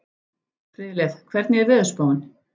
Friðleif, hvernig er veðurspáin?